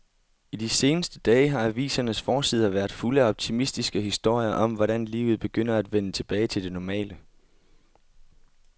I de seneste dage har avisernes forsider været fulde af optimistiske historier om, hvordan livet begynder at vende tilbage til det normale.